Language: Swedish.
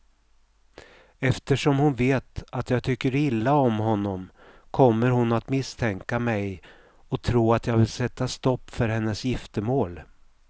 Eftersom hon vet att jag tycker illa om honom kommer hon att misstänka mig och tro att jag vill sätta stopp för hennes giftermål.